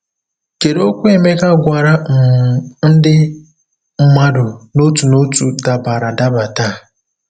Kedu okwu Emeka gwara um ndị mmadụ n'otu n'otu dabara adaba taa?